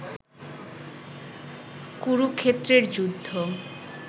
কুরুক্ষেত্রের যুদ্ধ